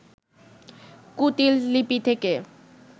কুটীল লিপি থেকে